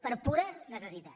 per pura necessitat